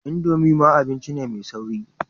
Indomie ma abinci ne mai sauri.